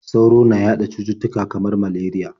Sauro na yaɗa cututtuka kamar malariya.